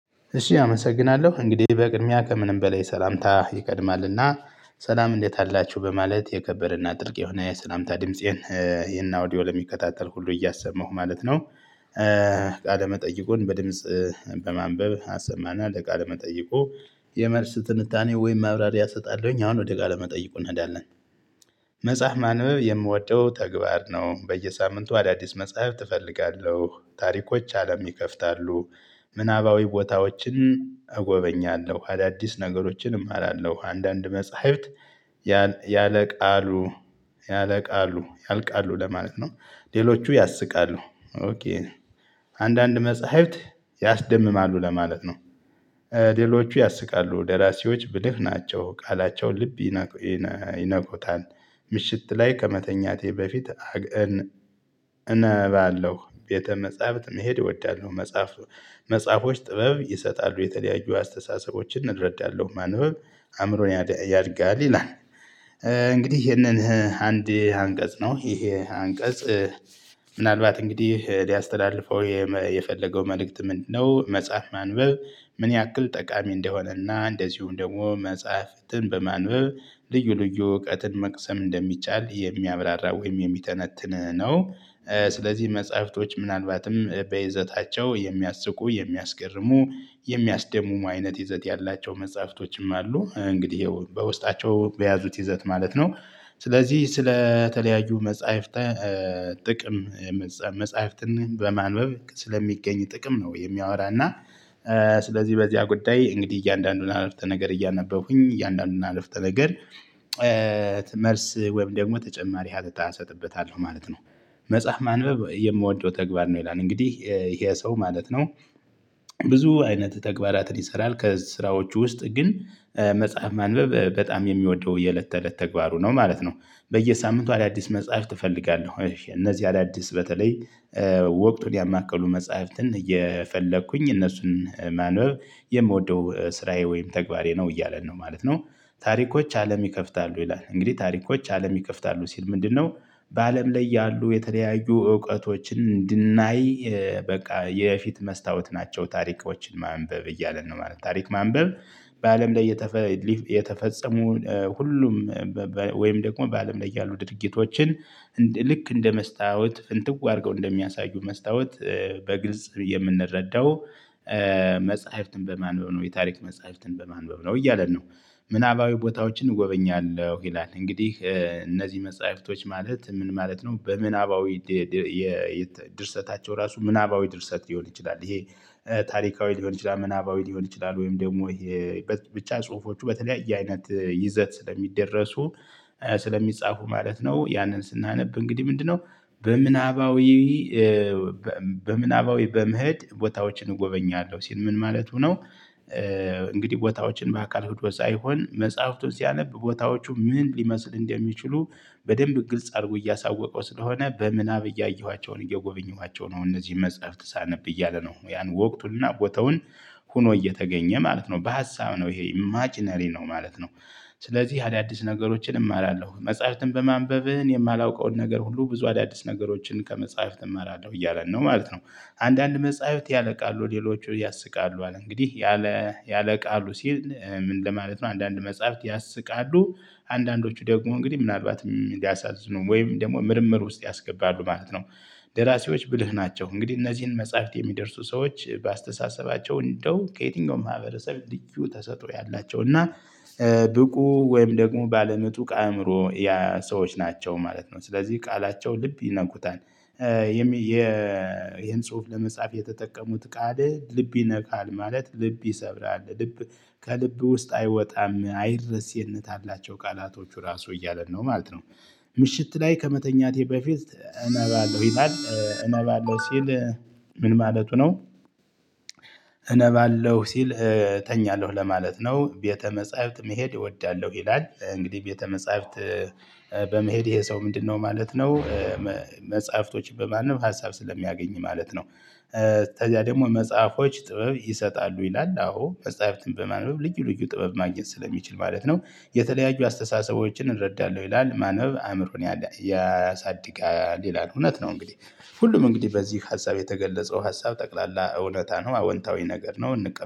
እሺ አመሰግናለሁ እንግዲህ በቅድሚያ ከምንም በላይ ሰላምታ ይቀድማልና ሰላም እንዴት አላችሁ በማለት የከበረና ጥልቅ የሆነ የሰላምታ ድምፄን ይሄን ኦውዲዮ ለሚከታተል ሁሉ እያሰማሁ ማለት ነው። ቃለ መጠይቁን በድምጽ በማንበብ አሰማና ለቃለ መጠይቁ የመልስ ትንታኔ ወይም ማብራሪያ እሰጣለሁኝ። አሁን ወደ ጋር ለመጠይቁ እንሄዳለን። መጽሐፍ ማንበብ የምወደው ተግባር ነው። በየሳምንቱ አዳዲስ መጽሐፍ እፈልጋለሁ ታሪኮች አለም ይከፍታሉ። ምናባዊ ቦታዎችን እጎበኛለሁ አዳዲስ ነገሮችንም አላለሁ። አንዳንድ መጽሐፍት ያለ ቃሉ ያለቃሉ ያልቃሉ ለማለት ነው። ሌሎቹ ያስቃሉ። አንዳንድ መጽሐፍት ያስደምማሉ ለማለት ነው። ሌሎቹ ያስቃሉ ደራሲዎች ብልህ ናቸው ቃላቸውን ልብ ይነኩታል። ምሽት ላይ ከመተኛቴ በፊት እነባለሁ ቤተ መጻፍት መሄድ እወዳለሁ። መጽሐፍ መጽሐፎች ጥበብ ይሰጣሉ የተለያዩ አስተሳሰቦችን እረዳለው ማንበብ አእምሮን ያድጋል ይላል። እንግዲህ ይሄንን አንድ አንቀፅ ነው ይሄ አንቀፅ። ምናልባት እንግዲህ ሊያስተላልፈው የፈለገው መልእክት ምንድነው? መጽሐፍ ማንበብ ምን ያክል ጠቃሚ እንደሆነና እንደዚሁም ደግሞ መፅሐፍትን በማንበብ ልዩ ልዩ እውቀትን መቅሰም እንደሚቻል የሚያብራራ ወይም የሚተነትን ነው። ስለዚህ መፅሐፍቶች ምናልባትም በይዘታቸው የሚያስቁ የሚያስገርሙ የሚያስደምሙ አይነት ይዘት ያላቸው መፅሐፍቶችም አሉ እንግዲህ ይኸው በውስጣቸው በያዙት ይዘት ማለት ነው። ስለዚህ ስለተለያዩ መፅሐፍተ ጥቅም መፅሐፍትን በማንበብ ስለሚገኝ ጥቅም ነው። የሚያወራ እና ስለዚህ በዚያ ጉዳይ እንግዲህ እያንዳንዱን አርፍተ ነገር እያነበብኩኝ እያንዳንዱን አርፍተ ነገር። መልስ ወይም ደግሞ ተጨማሪ ሀተታ እሰጥበታለሁ ማለት ነው። መጽሐፍ ማንበብ የምወደው ተግባር ነው ይላል እንግዲህ ይሄ ሰው ማለት ነው። ብዙ አይነት ተግባራትን ይሰራል ከስራዎቹ ውስጥ ግን መጽሐፍ ማንበብ በጣም የሚወደው የእለት ተእለት ተግባሩ ነው ማለት ነው። በየሳምንቱ አዳዲስ መጽሐፍት እፈልጋለሁ እነዚህ አዳዲስ በተለይ ወቅቱን ያማከሉ መፅሐፍትን እየፈለኩኝ እነሱን ማንበብ የምወደው ስራዬ ወይም ተግባሬ ነው እያለን ነው ማለት ነው። ታሪኮች አለም ይከፍታሉ ይላል እንግዲህ ታሪኮች አለም ይከፍታሉ ሲል ምንድነው? በአለም ላይ ያሉ የተለያዩ እውቀቶችን እንድናይ በቃ የፊት መስታወት ናቸው ታሪኮችን ማንበብ እያለን ነው ማለት ነው። ታሪክ ማንበብ በአለም ላይ የተፈፀሙ ሁሉም ወይም ደግሞ በአለም ላይ ያሉ ድርጊቶችን ልክ እንደ መስታወት ፍንትው አድርገው እንደሚያሳዩ መስታወት በግልጽ የምንረዳው መፅሐፍትን በማንበብ ነው የታሪክ መፅሐፍትን በማንበብ ነው እያለን ነው። ምናባዊ ቦታዎችን እጎበኛለሁ ይላል እንግዲህ እነዚህ መፅሐፍቶች ማለት ምን ማለት ነው? በምናባዊ ድርሰታቸው ራሱ ምናባዊ ድርሰት ሊሆን ይችላል ይሄ። ታሪካዊ ሊሆን ይችላል ምናባዊ ሊሆን ይችላል ወይም ደግሞ ብቻ ፁሁፎቹ በተለያየ አይነት ይዘት ስለሚደረሱ ስለሚፃፉ ማለት ነው። ያንን ስናነብ እንግዲህ ምንድነው? በምናባዊ በምህድ ቦታዎችን እጎበኛለሁ ሲል ምን ማለቱ ነው? እንግዲህ ቦታዎችን በአካል ሄዶ ሳይሆን መፅሐፍቱን ሲያነብ ቦታዎቹ ምን ሊመስል እንደሚችሉ በደንብ ግልጽ አድርጎ እያሳወቀው ስለሆነ በምናብ እያየኋቸው ነው እየጎበኘኋቸው ነው እነዚህ መጽሐፍት ሳነብ እያለ ነው ያን ወቅቱንና ቦታውን ሆኖ እየተገኘ ማለት ነው በሀሳብ ነው ይሄ ኢማጅነሪ ነው ማለት ነው። ስለዚህ አዳዲስ ነገሮችን እማራለሁ መፃህፍትን በማንበብ እኔ የማላውቀውን ነገር ሁሉ ብዙ አዳዲስ ነገሮችን ከመፅሐፍት እማራለሁ እያለን ነው ማለት ነው። አንዳንድ መጽሐፍት ያልቃሉ ሌሎቹ ያስቃሉ አለ እንግዲህ ያለ ያለቃሉ ሲል ምን ለማለት ነው? አንዳንድ መጽሐፍት ያስቃሉ አንዳንዶቹ ደግሞ እንግዲህ ምናልባትም ሊያሳዝኑ ወይም ደግሞ ምርምር ውስጥ ያስገባሉ ማለት ነው። ደራሲዎች ብልህ ናቸው እንግዲህ እነዚህን መጽሐፍት የሚደርሱ ሰዎች በአስተሳሰባቸው እንደው ከየትኛውም ማህበረሰብ ልዩ ተሰጦ ያላቸው እና ብቁ ወይም ደግሞ ባለምጡቅ አእምሮ ያ ሰዎች ናቸው ማለት ነው። ስለዚህ ቃላቸው ልብ ይነኩታል። ይሄን ጽሁፍ ለመጻፍ የተጠቀሙት ቃል ልብ ይነካል ማለት ልብ ይሰብራል ልብ ከልብ ውስጥ አይወጣም አይድረስ ይዘት አላቸው ቃላቶቹ ራሱ እያለን ነው ማለት ነው። ምሽት ላይ ከመተኛቴ በፊት እናባለሁ ማለት እነባለሁ ሲል ምን ማለቱ ነው? እነባለሁ ሲል እተኛለሁ ለማለት ነው። ቤተ መጻህፍት መሄድ እወዳለሁ ይላል እንግዲህ ቤተ መጻህፍት በመሄድ ይሄ ሰው ምንድነው ማለት ነው? መጽሐፍቶችን በማንም ሀሳብ ስለሚያገኝ ማለት ነው። ከዚያ ደግሞ መጽሐፎች ጥበብ ይሰጣሉ ይላል አዎ መጽሐፍትን በማንበብ ልዩ ልዩ ጥበብ ማግኘት ስለሚችል ማለት ነው። የተለያዩ አስተሳሰቦችን እረዳለሁ ይላል ማንበብ አእምሮን ያሳድጋል ይላል እውነት ነው። እንግዲህ ሁሉም እንግዲህ በዚህ ሀሳብ የተገለጸው ሀሳብ ጠቅላላ እውነታ ነው አወንታዊ ነገር ነው እንቀበላለን